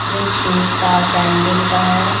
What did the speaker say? सिर्फ शूज का सैंडिल का है।